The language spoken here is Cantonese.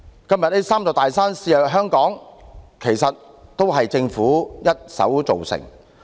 今天這"三座大山"肆虐香港，其實是政府一手造成的。